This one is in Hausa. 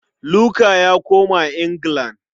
Luka ya koma Anglican.